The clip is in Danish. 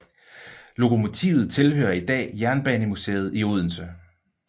Lokomotivet tilhører i dag Jernbanemuseet i Odense